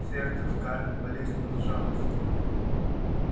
сердце скарлетт болезненно сжалось